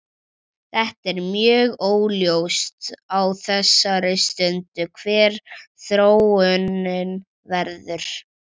Þetta er mjög óljóst á þessari stundu hver þróunin verður.